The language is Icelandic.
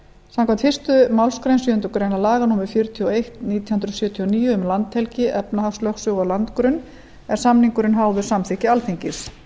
samkvæmt fyrstu málsgrein sjöundu grein laga númer fjörutíu og eitt nítján hundruð sjötíu og níu um landhelgi efnahagslögsögu og landgrunn er samningurinn háður samþykki alþingis